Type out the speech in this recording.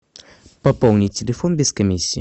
пополнить телефон без комиссии